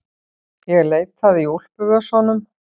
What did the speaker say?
Ég leitaði í úlpuvösunum.